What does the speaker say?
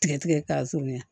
Tigɛ tigɛ k'a surunya